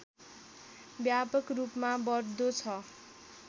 व्यापक रूपमा बढ्दो छ